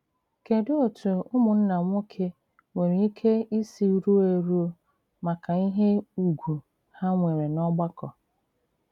Kèdù òtù ùmụ̀nnà nwoke nwere ìkè ìsì rùò èrù maka ìhé ùgwù ha nwere n'ọ̀gbàkọ?